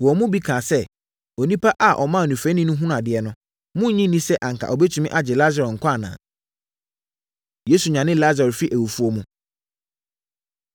Wɔn mu bi kaa sɛ, “Onipa a ɔmaa onifirani hunuu adeɛ no, monnnye nni sɛ anka ɔbɛtumi agye Lasaro nkwa anaa?” Yesu Nyane Lasaro Firi Awufoɔ Mu